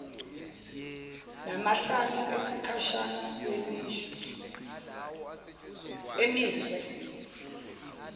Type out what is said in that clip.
namahlanu esikhashana amiswe